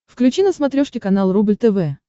включи на смотрешке канал рубль тв